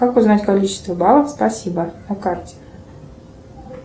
как узнать количество баллов спасибо на карте